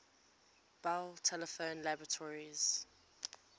bell telephone laboratories